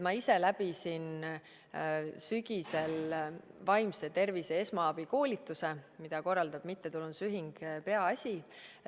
Ma ise läbisin sügisel vaimse tervise esmaabi koolituse, mida korraldab mittetulundusühing Peaasi.